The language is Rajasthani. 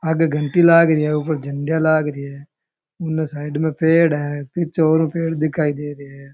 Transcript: आगे घंटी लागरी है ऊपर झंडिया लागरी है उंगे साईड में पेड़ है पीछे ओरु पेड़ दिखाई दे रहे हैं।